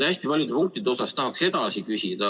Hästi paljude punktide kohta tahaks edasi küsida.